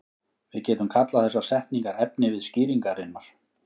Við getum kallað þessar setningar efnivið skýringarinnar.